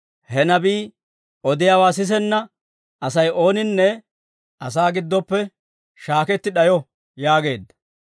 He nabii odiyaawaa sisenna Asay ooninne asaa giddoppe shaaketti d'ayo› yaageedda.